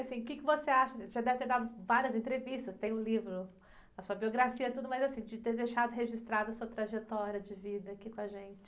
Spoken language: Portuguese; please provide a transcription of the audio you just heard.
Assim, e o que você acha, você já deve ter dado várias entrevistas, tem o livro, a sua biografia e tudo mais, assim, de ter deixado registrada a sua trajetória de vida aqui com a gente?